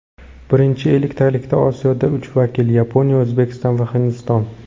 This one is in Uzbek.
Birinchi elliktalikda Osiyodan uch vakil: Yaponiya, O‘zbekiston va Hindiston.